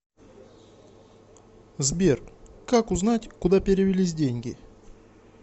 сбер как узнать куда перевелись деньги